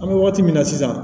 An bɛ wagati min na sisan